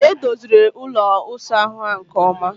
Edoziri ụlọ isa ahụ ha nke oma